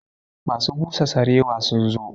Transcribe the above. Masu busa sarewa sun zo